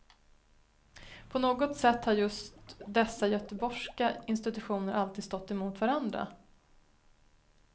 På något sätt har just dessa göteborgska institutioner alltid stått emot varandra.